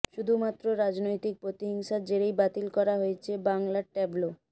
শুধুমাত্র রাজনৈতিক প্রতিহিংসার জেরেই বাতিল করা হয়েছে বাংলার ট্যাবলো